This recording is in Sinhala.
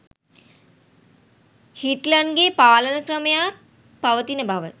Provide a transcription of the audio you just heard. හිට්ලර්ගේ පාලන ක්‍රමයක් පවතින බව